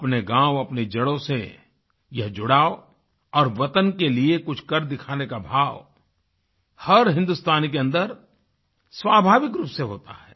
अपने गाँव अपनी जड़ों से यह जुड़ाव और वतन के लिए कुछ कर दिखाने का भाव हर हिन्दुस्तानी के अन्दर स्वाभाविक रूप से होता है